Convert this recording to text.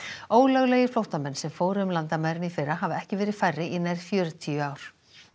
ólöglegir flóttamenn sem fóru um landamærin í fyrra hafa ekki verið færri í nær fjörutíu ár